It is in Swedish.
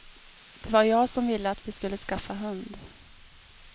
Det var jag som ville att vi skulle skaffa hund.